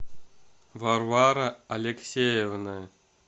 варвара алексеевна